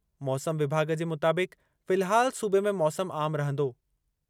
मौसम विभाॻु जे मुताबिक़ फ़िलहाल सूबे में मौसम आम रहंदो।